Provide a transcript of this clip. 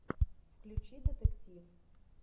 включи детектив